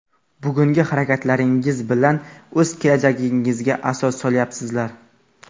Bugungi harakatlaringiz bilan o‘z kelajagingizga asos solyapsizlar.